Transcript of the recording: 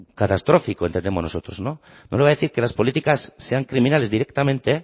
catastrófico entendemos nosotros no le voy a decir que las políticas sean criminales directamente